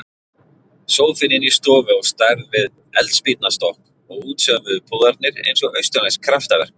Sófinn inni í stofu á stærð við eldspýtnastokk og útsaumuðu púðarnir eins og austurlensk kraftaverk.